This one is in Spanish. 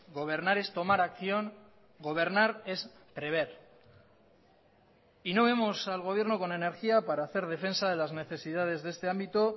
gobernar es tomar acción gobernar es prever y no vemos al gobierno con energía para hacer defensa de las necesidades de este ámbito